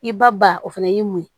I ba ba o fana y'i mun ye